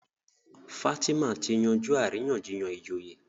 Fatima tí yanjú àríyànjiyàn ìjòyè.